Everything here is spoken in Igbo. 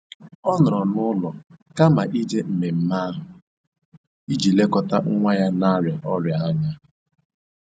Ọ nọrọ n'ụlọ kama ije mmemme ahụ iji lekọta nwa ya na-arịa ọrịa anya.